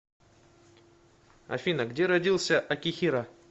афина где родился акихиро